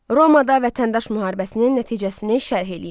Romada vətəndaş müharibəsinin nəticəsini şərh eləyin.